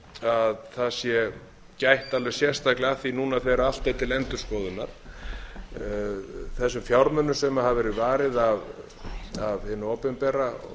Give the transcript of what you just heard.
að það sé gætt alveg sérstaklega að því núna þegar allt er til endurskoðunar þessum fjármunum sem hefur verið varið af hinu opinbera